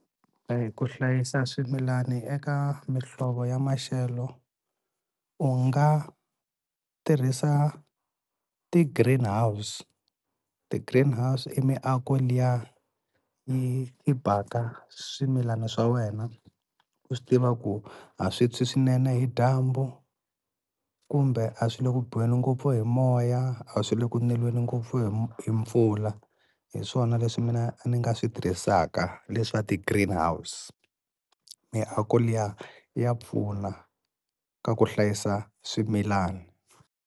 A hi ku hlayisa swimilani eka mihlovo ya maxelo u nga tirhisa ti-greenhouse. Ti-greenhouse i miako liya yi yi baka swimilani swa wena u swi tiva ku a swi tshwi swinene hi dyambu, kumbe a swi le ku biweni ngopfu hi moya, a swi le ku neliweni ngopfu hi hi mpfula, hi swona leswi mina ni nga swi tirhisaka leswa ti-greenhouse, miako liya ya pfuna ka ku hlayisa swimilana.